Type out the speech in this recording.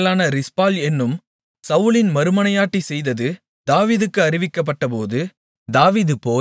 ஆயாவின் மகளான ரிஸ்பாள் என்னும் சவுலின் மறுமனையாட்டி செய்தது தாவீதுக்கு அறிவிக்கப்பட்டபோது